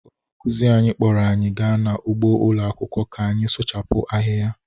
Onye nkụzi anyị kpọọrọ anyị gaa n’ugbo ụlọ akwụkwọ ka anyị suchapu ahịhịa